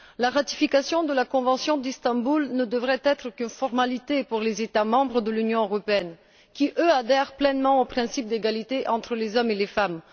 La ratification de la convention d'Istanbul ne devrait être qu'une formalité pour les États membres de l'Union européenne, qui, eux, adhèrent pleinement au principe d'égalité entre les hommes et les femmes.